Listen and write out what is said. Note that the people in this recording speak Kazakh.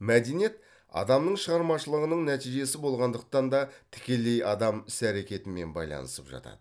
мәдениет адамның шығармашылығының нәтижесі болғандықтан да тікелей адам іс әрекетімен байланысып жатады